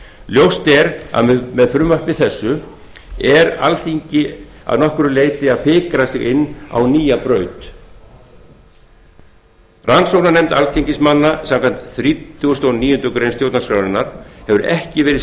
ljóst er að með frumvarpi þessu fikrar alþingi að nokkru leyti sig inn á nýja braut rannsóknarnefnd alþingismanna samkvæmt þrítugustu og níundu grein stjórnarskrárinnar hefur ekki verið